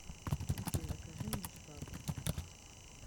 окей закажи мне швабру